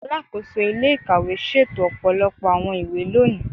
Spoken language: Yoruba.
Alakoso ile-ikawe ṣeto ọpọlọpọ awọn iwe loni